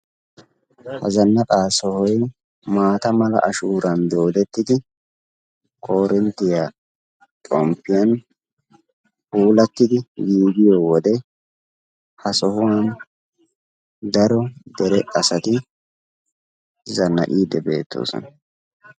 ha zannaqa sohoy maata mala ashuuran doodettidi koorinttiya xomppiyan puulatidi diyo wodee ha sohuwan daro dere asati zannaqiide beettoosona.